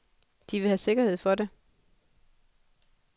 De vil have sikkerhed for det.